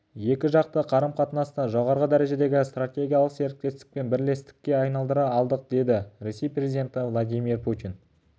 екіжақты қары-қатынасты жоғары дәрежедегі стратегиялық серіктестік пен бірлестікке айналдыра алдық деді ресей президенті владимир путин